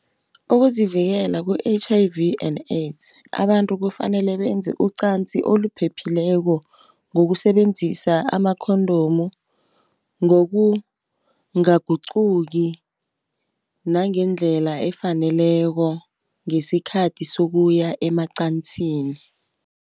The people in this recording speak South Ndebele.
Ukuzivikela ku-H_I_V and AIDS abantu kufanele benze ucansi oluphephileko ngokusebenzisa amakhondomu, ngokungaguquki nangendlela efaneleko ngesikhathi sokuya emacansini.